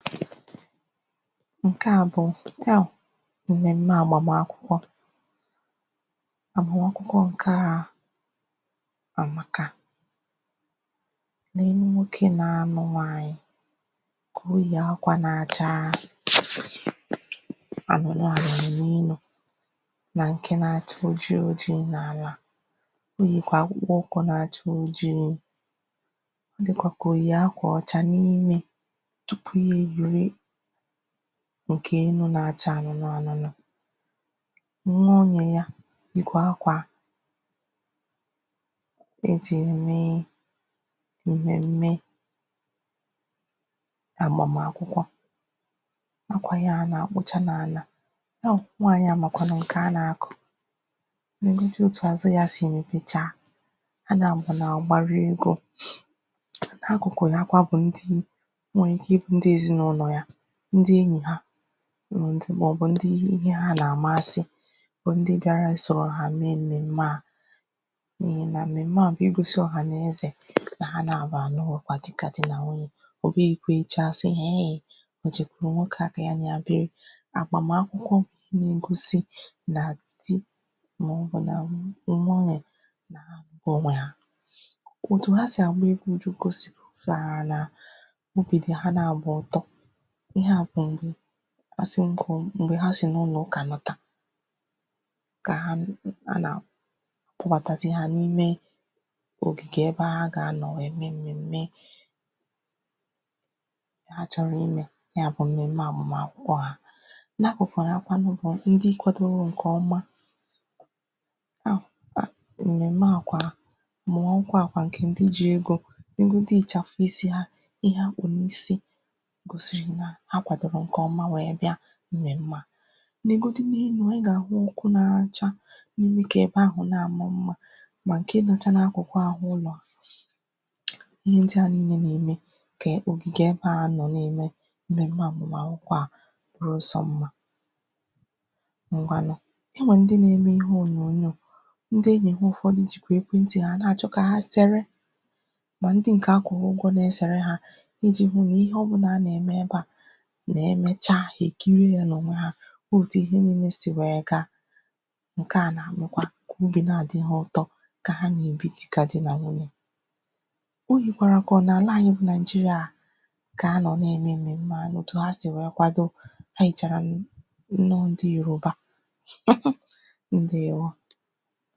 ǹke a bụ m̀mème àgbàm akwụkwọ àgbàm akwụkwọ ǹke a àmaka neenu nwokē na-anụ nwaaanyị̀ oyì akwā na-acha ànụ̀nụ̀ ànụ̀nụ̀ neenu nà ǹke na-acha òjii òjii oyìkwà akpụkpa ukwu na-acha ojii ọ dìkwà kà òyì akwà ọcha n’imē tupu ya èyìwe ǹke enū na-acha anụnụ ànụnụ nwa anyā ya yìkwà akwà ejì ème m̀mème gbàm akwụkwọ akwà ya ahụ̀ nà-àkpụcha n’àlà yawụ̀ nwaanyị̀ a màkwànụ̀ ǹkè a nà-àkọ nègodi òtù àzụ yā sì mèpecha ha nabụ̀ nà-àgbarị egwū n’akụ̀kụ̀ ya kwa bụ̀ ndị o nwèrè ike ịbụ ndị èzinàụlọ̀ ya ndị enyì ha ndị màọbụ ndị ihe hā nà àmasị bụ ndị bịara isòrò ha mee m̀mème a n’ihì nà m̀mème a bụ̀ igōsi ọ̀hànaeze nà ha nabụ̀ àlụgokwa di dịkà di na wunyè ọ̀ bụghị̄ ekwecha àsị eee o jèkwùrù nwokē a kà ya nà ya biri àgbam akwụkwọ na-egosi na di màọbụ nà nwunyè bù nà òtù ha si àgba egwu jugosi pụ̀tàrà nà obì dì ha nabụ̀ ụ̀tọ ihe a bụ̀ ndị asị m kwùo m̀gbè ha sì n’ụlọ̀ ụkà nata ka ha na nà ha nà kpọbàtazie hā n’ime ògìgè ebe ha gà-ànọ wee mee m̀mème kà ha chọ̀rọ̀ imē ya bụ̀ m̀mème àgbam akwụkwọ ahụ̀ n’akụ̀kụ̀ ha kwanụ bụ̀ ndị kwadoro ǹkè ọma ha ha m̀mèmè a kwa mụ̀wa nkwaǹkwà ǹkè ndị ji egō negodu ị̀chàfụ̀ isī ha ihe ha kpù n’isi gòsìrì nà ha kwàdòrò ǹkè ọma wère bịà m̀mème a nègodu n’enu ị gà-àhụ ọkụ na-acha na-eme kà ebe ahụ̀ na-àma mmā mà ǹke nọcha n’akụ̀jụ àhụ ụlọ̀ ihe ndịa niilē nà-ème kà ògìgè ebe a anọ̀ na-ème m̀mème àgbam akwụkwọ̄ a bụrụso mmā ngwanụ e nwèrè ndị na-eme ihe ònyònyo ndị enyì ha ụ̀fọdụ jìkwà ekwe ntì ha na-àchọ kà ha sere mà ndị ǹkè a kwụ̀rụ̀ ụgwọ na-esère hā ijī hunà ihe ọ̀bụnà a nà-ème ebe a nà-emecha hà èkiri yā n’ònwe hā hu òtù ihe niilē sì wee gaa ǹke a na-àmụkwa kà obì na-àdị ha ụtọ kà ha nà-èbi dịkà di nà nwunyè o yìkwàrà kà ọ n’àlà anyị bụ nàịjịrị̀a kà ha nọ̀ na-ème m̀mème a nà òtù ha si wee kwado ha yìchàrà nnọ ndị yòruba ǹdewo